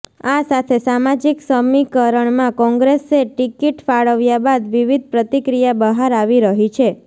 આ સાથે સામાજીક સમીકરણમાં કોંગ્રેસે ટિકીટ ફાળવ્યા બાદ વિવિધ પ્રતિક્રિયા બહાર આવી રહી છે